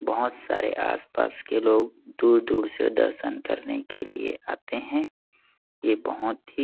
बहोत सारे आस-पास के लोग दूर-दूर से दर्शन करने के लिए आते है यह बहोत ही--